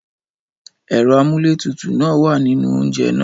Ẹ̀rọ amúlétutù náà wà nínú oúnjẹ náà.